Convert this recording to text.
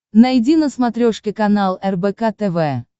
найди на смотрешке канал рбк тв